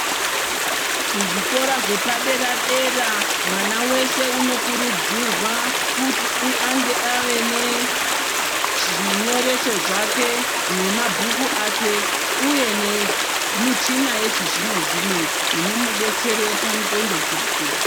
Kuzvikora zvepaderadera mwana wese unokurudzirwa kuti ange ave nezvinyoreso zvake nemabhuku ake uye nemichina yechizvinozvino inomudetsere pandxondo dzake.